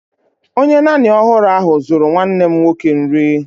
Onye nanny ọhụrụ ahụ zuru nwanne m nwoke nri